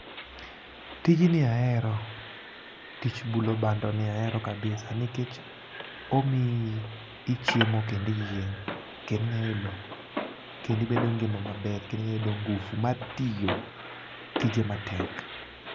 Tijni ahero, tich bulo bandoni ahero kabisa nikech omiyi ichiemo kendiyieng'. Kendo inyayudo kendo ibedo ngima maber kendo inyayudo ngufu mar tiyo tije matek.